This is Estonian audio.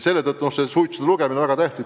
Selle tõttu on suitsude lugemine väga tähtis.